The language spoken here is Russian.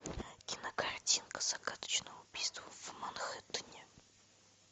кинокартинка загадочное убийство в манхеттене